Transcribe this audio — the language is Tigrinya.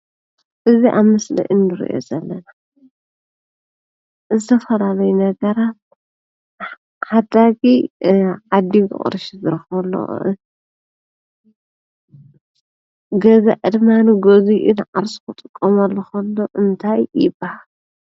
እዚ ኣብ ምስሊ እንሪኦ ዘለና ዝተፈላለዩ ነገራት ዓዳጊ ዓዲጉ ቅርሺ ዝረኽበሉ ፤ገዛኢ ድማ ገዚኡ ንዓርሱ ክጥቀመሉ እከሎ እንታይ ይበሃል ?